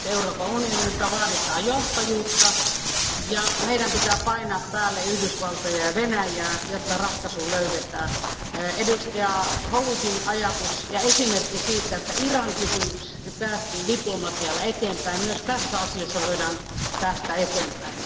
Nyt Euroopan unionilta vaaditaan johtajuutta ja meidän pitää painostaa Yhdysvaltoja ja Venäjää, jotta ratkaisu löydetään. Edustaja Howittin ajatus ja esimerkki siitä, että Iran kysymyksessä päästiin diplomatialla eteenpäin, osoittaa, että myös tässä asiassa voidaan päästä eteenpäin.